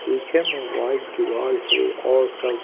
पीछे में व्हाइट दिवाल है और सब--